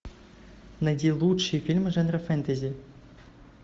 найди лучшие фильмы жанра фэнтези